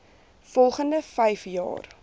volgende vyf jaar